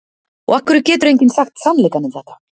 Og af hverju getur enginn sagt sannleikann um þetta?